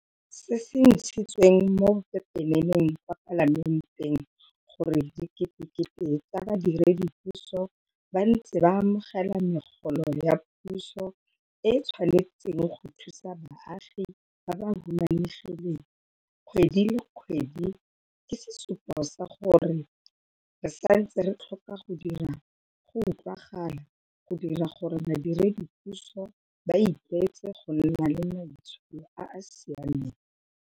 Se se ntshitsweng mo pepeneneng kwa Palamenteng gore diketekete tsa badiredipuso ba ntse ba amogela megolo ya puso e e tshwanetseng go thusa baagi ba ba humanegileng kgwedi le kgwedi ke sesupo sa gore re santse re tlhoka go dira go utlwagala go dira gore badiredipuso ba itlwaetse go nna le maitsholo a a siameng.